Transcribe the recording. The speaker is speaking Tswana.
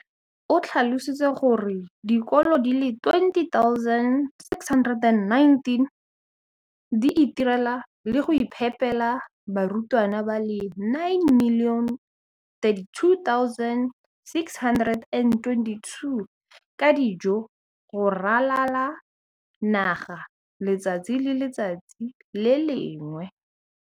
o tlhalositse gore dikolo di le 20 619 di itirela le go iphepela barutwana ba le 9 032 622 ka dijo go ralala naga letsatsi le lengwe le le lengwe.